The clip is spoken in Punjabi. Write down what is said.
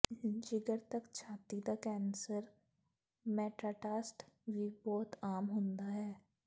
ਜਿਗਰ ਤਕ ਛਾਤੀ ਦਾ ਕੈਂਸਰ ਮੈਟਾਟਾਸਟ ਵੀ ਬਹੁਤ ਆਮ ਹੁੰਦਾ ਹੈ